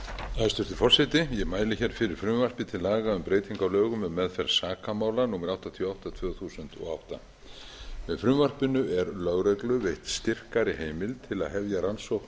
forseti ég mæli hér fyrir frumvarpi til laga um breytingu á lögum um meðferð sakamála númer áttatíu og átta tvö þúsund og átta með frumvarpinu er lögreglu veitt styrkari heimild til að hefja rannsókn